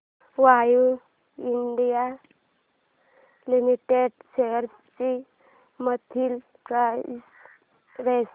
Cummins India limited shares ची monthly price range